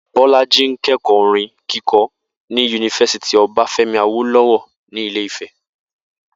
Bó̩lájí ń ké̩kò̩ó̩ orin kíko̩ ní yunifásítì O̩báfé̩mi Awóló̩wó̩ ní Ilé Ifè̩